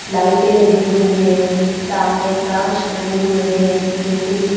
लाइटें लगी हुई हैं सामने कांच लगे हुए हैं नीचे की--